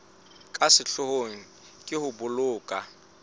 ka sehloohong ke ho boloka